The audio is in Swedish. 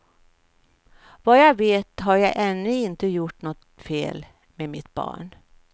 Vad jag vet har jag ännu inte gjort något fel med mitt barn.